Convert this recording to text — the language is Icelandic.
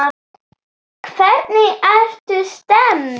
Hvernig ertu stemmd?